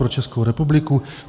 Pro Českou republiku?